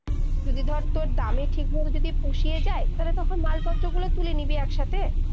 যদি ধর তর দামে ঠিক মতো যদি পুষিয়ে যাই, তালে তখন মাল পত্র গুলো তুলে নিবি, একসাথে